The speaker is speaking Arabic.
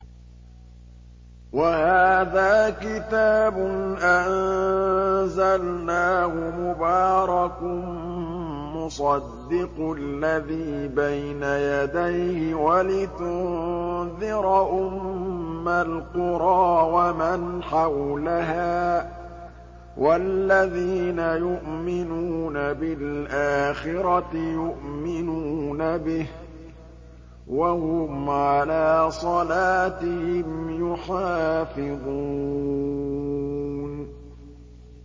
وَهَٰذَا كِتَابٌ أَنزَلْنَاهُ مُبَارَكٌ مُّصَدِّقُ الَّذِي بَيْنَ يَدَيْهِ وَلِتُنذِرَ أُمَّ الْقُرَىٰ وَمَنْ حَوْلَهَا ۚ وَالَّذِينَ يُؤْمِنُونَ بِالْآخِرَةِ يُؤْمِنُونَ بِهِ ۖ وَهُمْ عَلَىٰ صَلَاتِهِمْ يُحَافِظُونَ